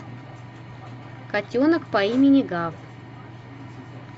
котенок по имени гав